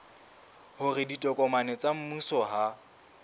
hore ditokomane tsa mmuso ha